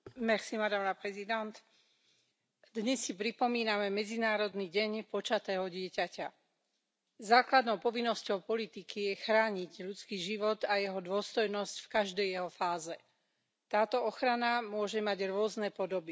Vážená pani predsedajúca. Dnes si pripomíname Medzinárodný deň počatého dieťaťa. Základnou povinnosťou politiky je chrániť ľudský život a jeho dôstojnosť v každej jeho fáze. Táto ochrana môže mať rôzne podoby.